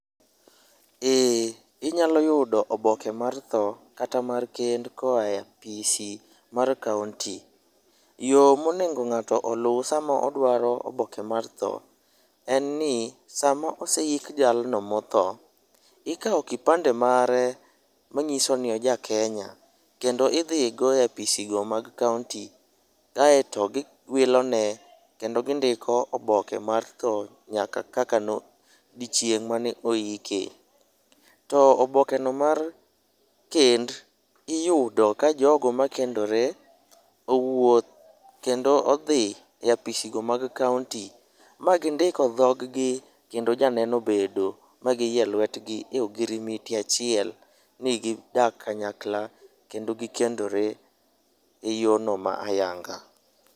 Ee. Inyalo yudo oboke mar tho kata mar kend koa e apisi mar kaonti. Yo monego ng'ato oluw sama odwaro oboke mar tho en ni, sama oseik jalno ma otho, ikawo kipande mare mang'iso ni oja Kenya. Kendo idhi go e apisi go mag kaonti, kaeto giwilone, kendo gindiko oboke mar tho nyaka odiochieng' mane oike. To obokeno mar kend, iyudo ka jogo makendore owuok kendo odhie apisgo mag kaonti, ma gindiko dhoggi, kendo janeno obedo ma giyie lwetgi e ogirimiti achiel ni gidak kanyakla kendo gikendore e yorno ma ayanga.